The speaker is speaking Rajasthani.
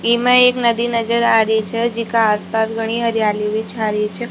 इमा एक नदी नजर आ रही छ जीका आस पास घणी हरियाली भी छा रही छ।